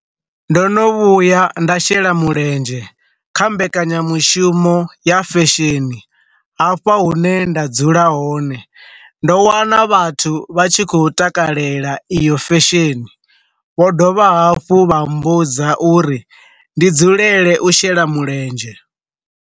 Ndo no vhuya nda shela mulenzhe kha mbekanyamushumo ya fesheni hafha hune nda dzula hone, ndo wana vhathu vha tshi khou takalela iyo fesheni, vho dovha hafhu vha mmbudza uri ndi dzulele u shela mulenzhe.